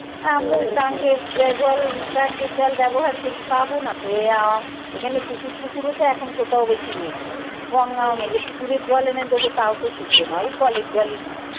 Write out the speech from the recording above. টাংকির জল ব্যবহার করি পাব না তো এর এখানে পুকুর টুকুরো তো এখন কোথাও বেশি নেই। যে পুকুরের জল এনে দেব তাও তো শুদ্ধ নয় এই কলের জলই দিই।